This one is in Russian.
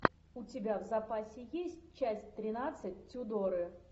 у тебя в запасе есть часть тринадцать тюдоры